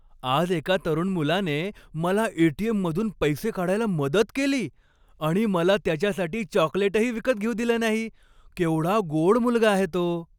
आज एका तरुण मुलाने मला ए.टी.एम.मधून पैसे काढायला मदत केली आणि मला त्याच्यासाठी चॉकलेटही विकत घेऊ दिले नाही. केवढा गोड मुलगा आहे तो.